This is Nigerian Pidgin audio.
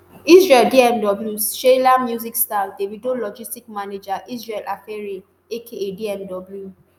israel dmw sheila music star davido logistics manager israel afeare aka dmw